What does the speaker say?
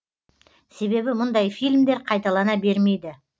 себебі мұндай фильмдер қайталана бермейді